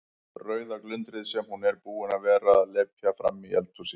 Rauða glundrið sem hún er búin að vera að lepja frammi í eldhúsi.